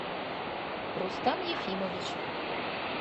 рустам ефимович